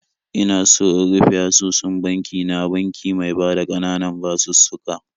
Ina so in rufe asusun banki na banki mai bada ƙananan basussuka.